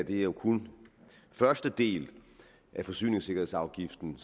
jo kun er første del af forsyningssikkerhedsafgiften